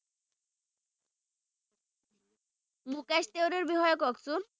মুকেশ তিৱাৰীৰ বিষয়ে কওকচোন